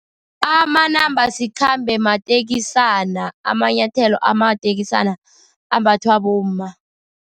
Amanambasikhambe mateksana, amanyathelo amateksana, ambathwa bomma.